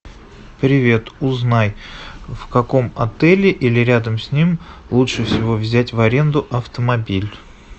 привет узнай в каком отеле или рядом с ним лучше всего взять в аренду автомобиль